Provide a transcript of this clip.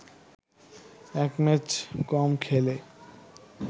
এক ম্যাচ কম খেলে